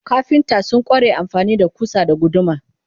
kafinta sun kware amfani da kusa da guduma